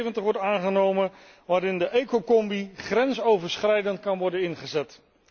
72 wordt aangenomen waardoor de ecocombi grensoverschrijdend kan worden ingezet.